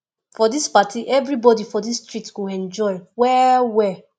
for dis party everybodi for dis street go enjoy well well